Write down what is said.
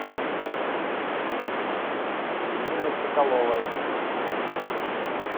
ириной соколовой